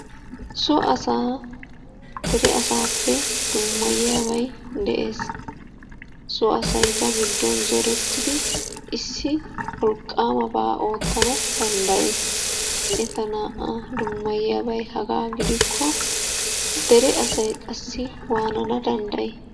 So asaa dere asaappe dummayiyabay de'ees. So asay ba giddon zorettidi issi wolqqaamabaa oottana danddayees. Eta naa"aa dummayiyabay hagaa gidikko dere asay qassi waanana danddayi?